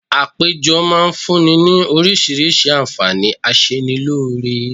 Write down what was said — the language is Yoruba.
Àpéjọ máa fún ní ni oríṣiríṣi àǹfààní aṣenilóore